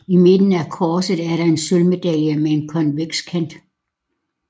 I midten af korset er der en sølvmedalje med en konveks kant